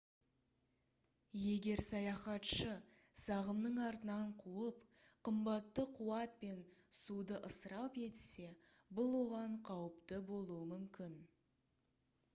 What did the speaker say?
егер саяхатшы сағымның артынан қуып қымбатты қуат пен суды ысырап етсе бұл оған қауіпті болуы мүмкін